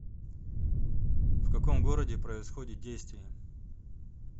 в каком городе происходит действие